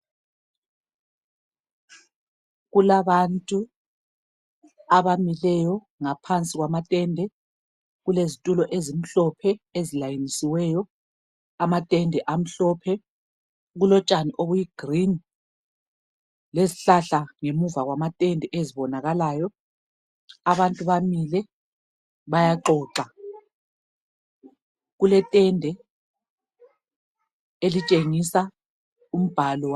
Kulabantu abamileyo ngaphansi kwamatende kulezitulo ezimhlophe ezilayinisweyo amatende amhlophe kulotshani obuyi green lezihlahla ngemuva kwamatende ezibonakalayo abantu bamile bayaxoxa kuletende elitshengisa umbalo